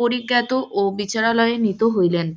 পরিজ্ঞ্যাত ও বিচারালয়ে উপনীত হইলেন,